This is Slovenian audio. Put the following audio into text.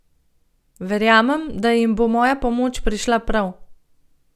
Verjamem, da jim bo moja pomoč prišla prav.